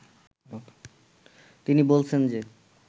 তিনি বলছেন যে